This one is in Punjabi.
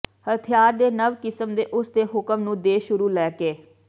ਹਥਿਆਰ ਦੇ ਨਵ ਕਿਸਮ ਦੇ ਉਸ ਦੇ ਹੁਕਮ ਨੂੰ ਦੇ ਸ਼ੁਰੂ ਲੈ ਕੇ